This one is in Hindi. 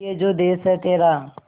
ये जो देस है तेरा